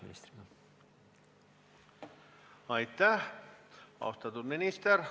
Aitäh, austatud minister!